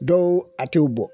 Dɔw a t'o bɔ